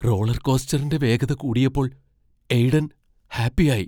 Roller കോസ്റ്ററിന്റെ വേഗത കൂടിയപ്പോൾ എയ്ഡൻ ഹാപ്പിയായി.